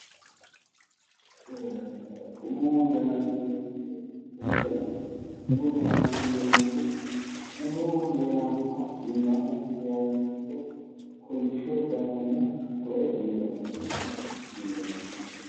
Umu dananchooti umu danancho yineemmohu umoho heerannoha iima hige heerannoricho kolishsho dananna hakkoye umu danaati yineemmo